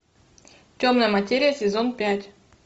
темная материя сезон пять